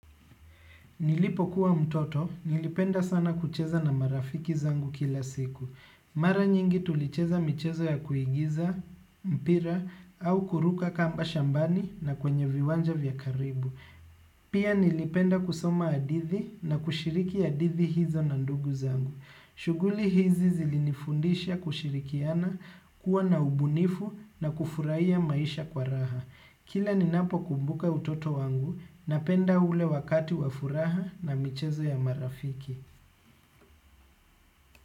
Nilipokuwa mtoto, nilipenda sana kucheza na marafiki zangu kila siku. Mara nyingi tulicheza michezo ya kuigiza, mpira, au kuruka kamba shambani na kwenye viwanja vya karibu. Pia nilipenda kusoma hadithi na kushiriki hadithi hizo na ndugu zangu. Shuguli hizi zilinifundisha kushirikiana kuwa na ubunifu na kufurahia maisha kwa raha. Kila ninapo kumbuka utoto wangu napenda ule wakati wa furaha na michezo ya marafiki.